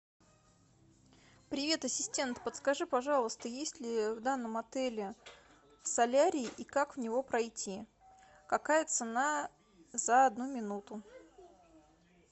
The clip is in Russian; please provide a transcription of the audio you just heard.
привет ассистент подскажи пожалуйста есть ли в данном отеле солярий и как в него пройти какая цена за одну минуту